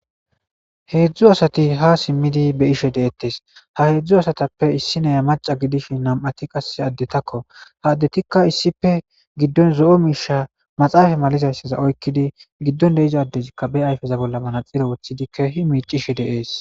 heedzdzu asati ha simmidi be ishe deettes ha heedzdzu asatappe issi neya maca gidish nam7ati qase addetakko haaddetikka issife giddon zo7o miisha maxaafa malizayssaza oykkidi giddon deiza dezikka be ayfeza bolla manaxiro woththidi keehi miicishe deees